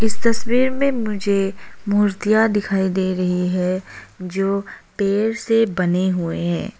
इस तस्वीर में मुझे मूर्तियां दिखाई दे रही है जो पेड़ से बने हुए हैं।